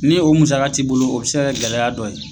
Ni o musaka t'i bolo, o bɛ se ka kɛ gɛlɛya dɔ ye.